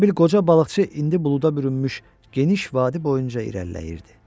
Elə bil qoca balıqçı indi buluda bürünmüş geniş vadi boyunca irəliləyirdi.